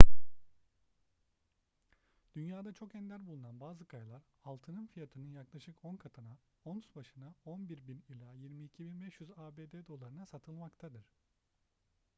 dünyada çok ender bulunan bazı kayalar altının fiyatının yaklaşık on katına ons başına 11.000 ila 22.500 abd dolarına satılmaktadır